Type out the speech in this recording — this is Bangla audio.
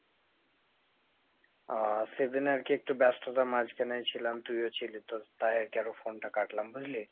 আহ সেদিন আর কি একটু ব্যস্ততার মাঝখানে ছিলাম তুইও ছিলি তাই আর কি আরো phone টা কাটলাম বুঝলি ?